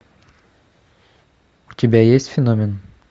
у тебя есть феномен